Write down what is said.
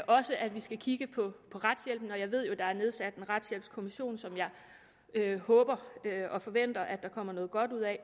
også at vi skal kigge på retshjælpen og jeg ved jo at der er nedsat en retshjælpskommission som jeg håber og forventer at der kommer noget godt ud af